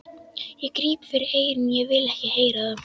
Ég gríp fyrir eyrun, ég vil ekki heyra það!